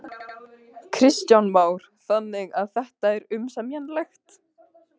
Kristján Már: Þannig að þetta er umsemjanlegt?